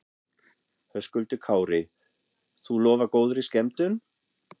Höskuldur Kári: Þú lofar góðri skemmtun?